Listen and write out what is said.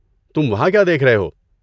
تم وہاں کیا دیکھ رہے ہو؟